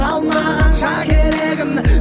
алмағанша керегін